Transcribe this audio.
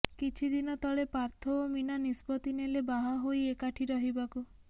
କିଛି ଦିନ ତଳେ ପାର୍ଥ ଓ ମୀନା ନିଷ୍ପତ୍ତି ନେଲେ ବାହା ହୋଇ ଏକାଠି ରହିବାକୁ